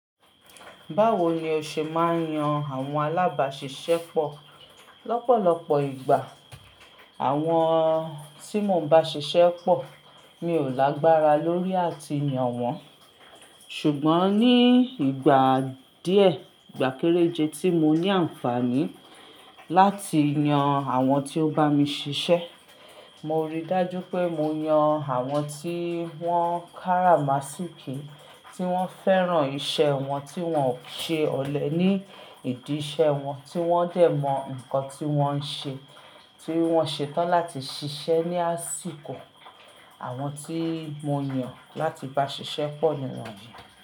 Báwo ni o ṣe máa ń yan àwọn alábáṣiṣẹ́ pọ̀? Lọ́pọ̀lọpọ̀ ìgbà, àwọn tí mo ń bá ṣiṣẹ́ pọ̀, mi ò lágbára lórí àti yan wọ́n. Ṣùgbọ́n ní ìgbà díẹ̀, ìgbà kéréje tí mo ní àǹfààní láti yan àwọn tí ó bá mi ṣiṣẹ́, mo rí dájú pé mo yan àwọn tí wọ́n kárà masínkì, tí wọ́n fẹ́ràn iṣẹ́ wọn, tí wọ́n ò ṣe ọ̀lẹ ní ìdí iṣẹ́ wọn, tí wọ́n dẹ̀ mọ nǹkan tí wọ́n ń ṣe, tí wọ́n ṣetán láti ṣiṣẹ́ ní àsìkò. Àwọn tí mo yàn láti bá ṣiṣẹ́ pọ̀ ni wọ́n yìí.